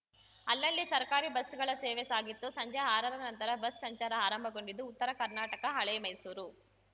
ಅಲ್ಲಲ್ಲಿ ಸರ್ಕಾರಿ ಬಸ್‌ಗಳ ಸೇವೆ ಸಾಗಿತ್ತು ಸಂಜೆ ಆರರ ನಂತರ ಬಸ್‌ ಸಂಚಾರ ಆರಂಭಗೊಂಡಿದ್ದು ಉತ್ತರ ಕರ್ನಾಟಕ ಹಳೆ ಮೈಸೂರು